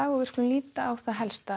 við skulum líta á það helsta